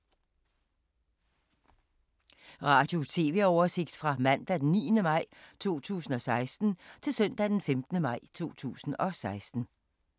Radio/TV oversigt fra mandag d. 9. maj 2016 til søndag d. 15. maj 2016